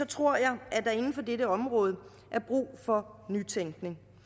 tror jeg at der inden for dette område er brug for nytænkning